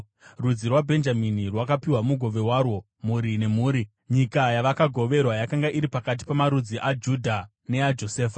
Rudzi rwaBhenjamini rwakapiwa mugove warwo, mhuri nemhuri. Nyika yavakagoverwa yakanga iri pakati pamarudzi aJudha neaJosefa: